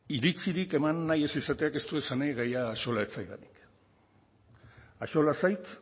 iritzirik eman nahi ez izateak ez du esan nahi gaia axola ez zaidanik axola zait